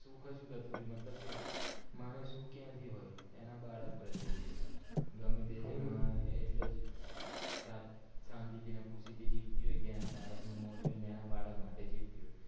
સુખ જ જતું રયું મતલબ કે મા ને સુખ ક્યાંથી હોય એના બાળક પ્રત્યે તથી હોય ગમે તે માં એટલેજ શાંતિ થી સુતી થી જીવતી હોય કે એના બાળક નું મો જોઈને અને એના બાળક માટે જીવતી હોય